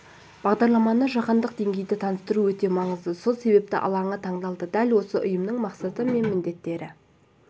бағдарламаны жаһандық деңгейде таныстыру өте маңызды сол себепті алаңы таңдалды дәл осы ұйымның мақсаты мен міндеттері